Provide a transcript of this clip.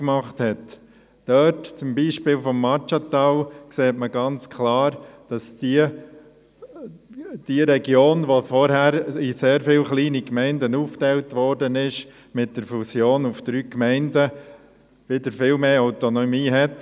So hat das Maggiatal, das früher in sehr viele kleine Gemeinden aufgeteilt war, mit der Fusion zu drei Gemeinden wieder viel mehr Autonomie gewonnen;